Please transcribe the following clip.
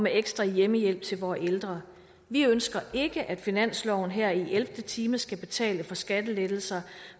ekstra hjemmehjælp til vore ældre vi ønsker ikke at finansloven her i ellevte time skal betale for skattelettelser